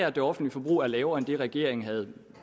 at det offentlige forbrug er lavere end det regeringen